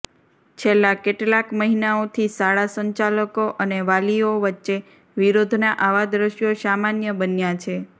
છેલ્લા કેટલાક મહિનાઓથી શાળા સંચાલકો અને વાલીઓ વચ્ચે વિરોધના આવા દ્રશ્યો સામાન્ય બન્યા છે